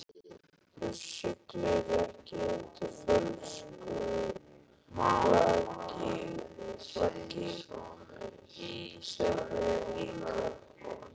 Þú siglir ekki undir fölsku flaggi í sveitinni líka?